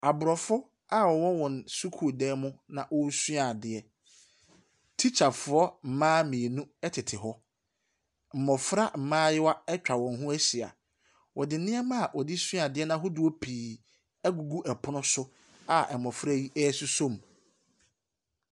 Abrɔfo a ɔwɔ wɔn sukuudan mu ɛresua adeɛ. Teacherfoɔ mmaa mmienu ɛtete hɔ. Mmɔfra mmaayewa ɛtwa wɔn ho ɛhyia. Ɔde nnoɔma ɔdesua adeɛ ahodoɔ pii ɛgugu ɛpono so a mmɔfra yi ɛresosɔ mu.